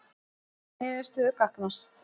Telja niðurstöður gagnast